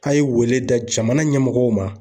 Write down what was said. A' ye wele da jamana ɲɛmɔgɔw ma.